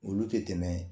Olu tɛ tɛmɛ